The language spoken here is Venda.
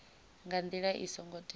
nga ndila i songo teaho